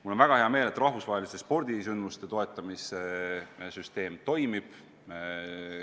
Mul on väga hea meel, et rahvusvaheliste spordisündmuste toetamise süsteem toimib.